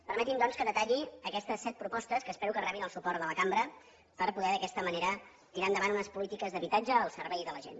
permeti’m doncs que detalli aquestes set propostes que espero que rebin el suport de la cambra per poder d’aquesta manera tirar endavant unes polítiques d’habitatge al servei de la gent